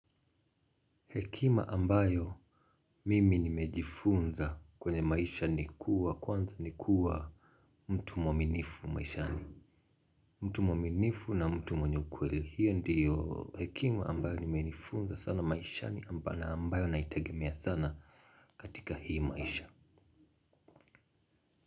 Hekima ambayo mimi nimejifunza kwenye maisha ni kuwa kwanza ni kuwa mtu mwaminifu maishani. Mtu mwaminifu na mtu mwenye ukweli hiyo ndiyo hekima ambayo nimejifunza sana maishani ambayo naitagemia sana katika hii maisha.